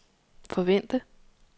forvente